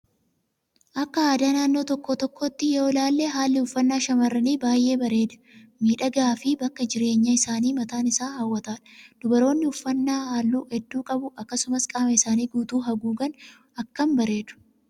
Akka aadaa naannoo tokko tokkootti yoo ilaalle haalli uffannaa shamarranii baay'ee bareedaa, miidhagaa fi bakki jireenya isaanii mataan isaa hawwataadha. Dubaroonni uffannaa halluu hedduu qabu akkasumas qaama isaanii guutuu haguugan akkam bareedu